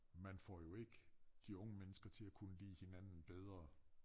Man får jo ikke de unge mennesker til at kunne lide hinanden bedre